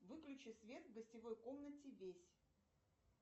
выключи свет в гостевой комнате весь